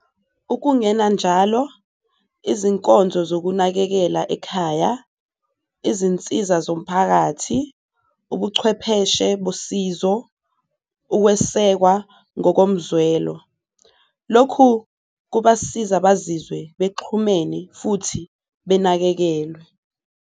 Ukungena njalo, izinkonzo zokunakekela ekhaya, izinsiza zomphakathi, ubuchwepheshe bosizo, ukwesekwa ngokomzwelo, lokhu kubasiza bazizwe bexhumene futhi benakekelwe.